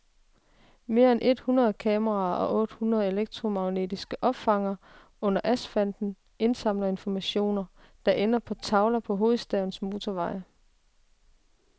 Mere end et hundrede kameraer og otte hundrede elektromagnetiske opfangere under asfalten indsamler informationer, der ender på tavler på hovedstadens motorveje.